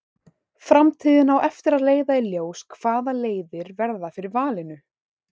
Framtíðin á eftir að leiða í ljós hvaða leiðir verða fyrir valinu.